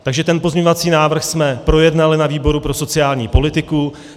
Takže ten pozměňovací návrh jsme projednali na výboru pro sociální politiku.